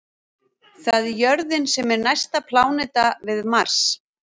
Það er jörðin sem er næsta pláneta við Mars.